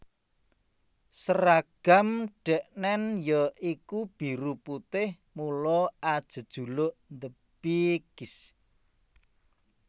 Seragam dheknen ya iku biru putih mula ajejuluk The Baggies